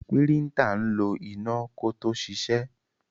Píríńtà ń lo iná kó tó ṣiṣẹ́.